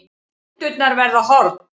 Hendurnar verða horn.